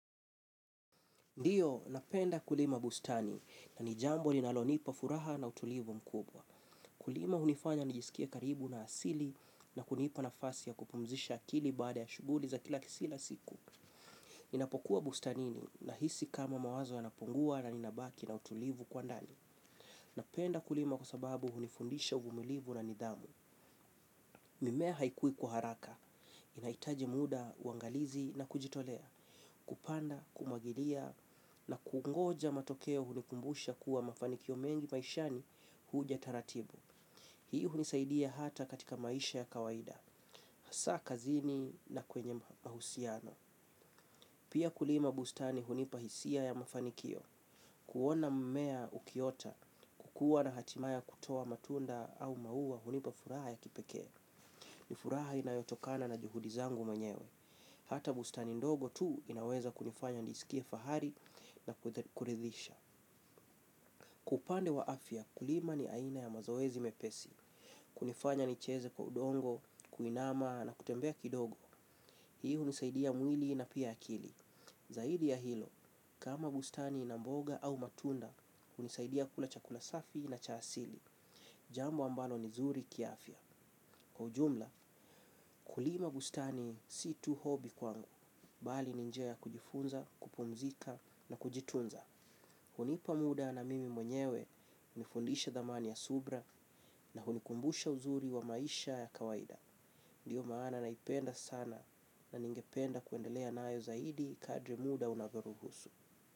Ndiyo, napenda kulima bustani na ni jambo ninalonipa furaha na utulivu mkubwa. Kulima hunifanya nijisikie karibu na asili na kunipa nafasi ya kupumzisha akili baada ya shuguli za kila siku. Ninapokuwa bustanini nahisi kama mawazo yanapungua na ninabaki na utulivu kwa ndani. Napenda kulima kwa sababu hunifundisha uvumilivu na nidhamu. Mimea haikui kwa haraka. Inaitaji muda, uangalizi na kujitolea. Kupanda, kumwagilia na kungoja matokeo hunikumbusha kuwa mafanikio mengi maishani huja taratibu. Hii hunisaidia hata katika maisha ya kawaida. Hasa kazini na kwenye mahusiano pia kulima bustani hunipa hisia ya mafanikio. Kuona mmea ukiota, kukua na hatima ya kutoa matunda au maua hunipa furaha ya kipekea. Ni furaha inayotokana na juhudi zangu mwenyewe. Hata bustani ndogo tu inaweza kunifanya niskie fahari. Na kuridhisha. Kwa upande wa afya kulima ni aina ya mazoezi mepesi. Kunifanya nicheze kwa udongo kuinama na kutembea kidogo hii unisaidia mwili na pia akili. Zaidi ya hilo kama bustani na mboga au matunda unisaidia kula chakula safi na cha asili. Jambo ambalo ni zuri kiafya. Kwa ujumla kulima bustani si tu hobi kwangu. Bali ni njia kujifunza, kupumzika na kujitunza hunipa muda na mimi mwenyewe. Unifundisha thamani ya subra na hunikumbusha uzuri wa maisha ya kawaida. Ndiyo maana naipenda sana na ningependa kuendelea nayo zaidi kadri muda unavyoruhusu.